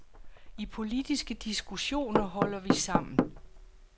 I politiske diskussioner holder vi sammen.